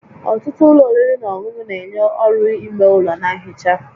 Ọtụtụ ụlọ oriri na ọṅụṅụ na-enye ọrụ-ime ụlọ na nhicha